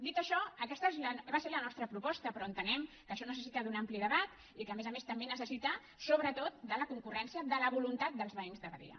dit això aquesta va ser la nostra proposta però entenem que això necessita un ampli debat i que a més a més també necessita sobretot la concurrència la voluntat dels veïns de badia